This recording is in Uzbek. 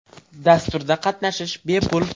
Dasturda qatnashish bepul.